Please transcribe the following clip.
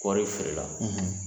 Kɔɔri feerela